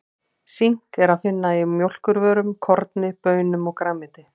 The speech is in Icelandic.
Sink er að finna í mjólkurvörum, korni, baunum og grænmeti.